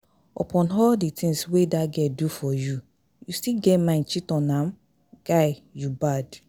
Upon all the things wey dat girl do for you, you still get mind cheat on am? Guy, you bad